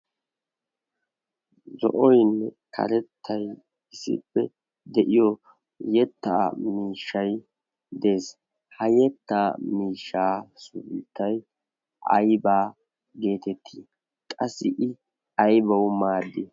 zo'oinn katettay isippe de'iyo yetta miishshai de'es. ha yetta miishshaa suuittay aibaa geetettii qassi i aybawu maaddi?